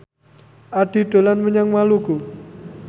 Addie dolan menyang Maluku